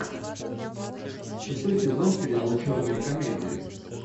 шестой сезон сериала черная комедия